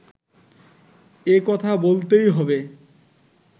এ কথা বলতেই হবে